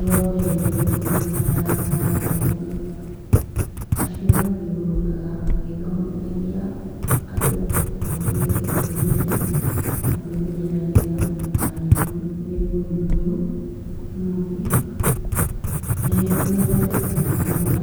Rwa mbere nĩrwa kanitha ya gathoreki acio mathiũrũrũkaga magĩthomithagia andũ ũhoro wĩgiĩ kwĩmenya na kwĩmenyerera nĩgetha matikanyitwo nĩ mũrĩmũ ũyũ ,ũngĩ, nĩmathondekaga mabura